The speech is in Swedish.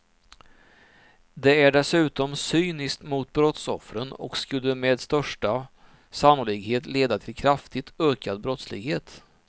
Det är dessutom cyniskt mot brottsoffren och skulle med största sannolikhet leda till kraftigt ökad brottslighet.